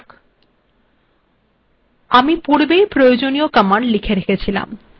এগুলি ডিলিট করা যাক